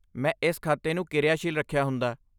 ਮੈਂ ਇਸ ਖਾਤੇ ਨੂੰ ਕਿਰਿਆਸ਼ੀਲ ਰੱਖਿਆ ਹੁੰਦਾ।